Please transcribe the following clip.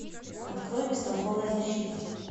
открой бестолковая защита